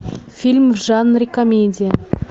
фильм в жанре комедия